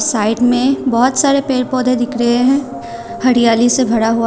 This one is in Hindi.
साइड में बहुत सारे पेड़ पौधे दिख रहे हैं हरियाली से भरा हुआ--